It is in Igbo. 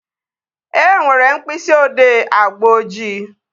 E nwere mkpịsị odee agba ojii